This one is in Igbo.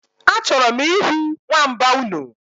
Achọrọ m ihu nwamba unu